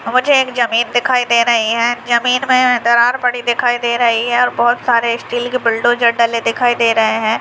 मुझे एक जमीन दिखाई दे रही है जमीन के अंदर दरार पड़ी हुई दिखाई दे रही है और बहुत सारे स्टील के बुलडोजर दिखाई दे रहे हैं।